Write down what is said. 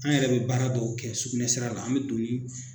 An yɛrɛ bɛ baara dɔw kɛ sugunɛsira la an bɛ don ni